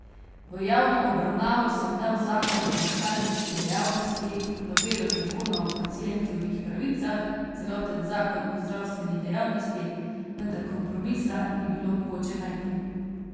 V javno obravnavo sem dal zakon o lekarniški dejavnosti, novelo zakona o pacientovih pravicah, celoten zakon o zdravstveni dejavnosti, vendar kompromisa ni bilo mogoče najti.